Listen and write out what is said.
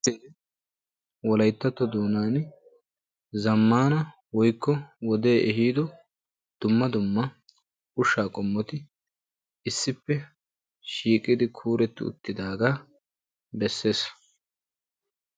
Wolayttatto doonan zamaana woykko wodee ehiido ushshaa qommotti issi bolla kuuretti uttidaaaga besees.